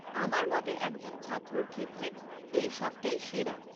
আমার মতে একজন ছাত্রর ক্ষেত্রে এই শখটাই সেরা।